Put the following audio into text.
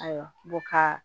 Ayiwa n ko ka